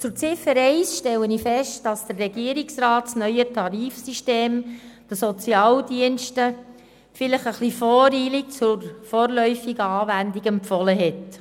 Bei Ziffer 1 stelle ich fest, dass der Regierungsrat das neue Tarifsystem den Sozialdiensten vielleicht etwas voreilig zur vorläufigen Anwendung empfohlen hat.